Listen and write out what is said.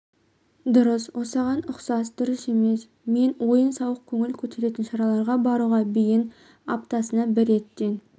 дұрыс осыған ұқсас дұрыс емес мен ойын сауық көңіл көтеретін шараларға баруға бейін аптасына бір реттен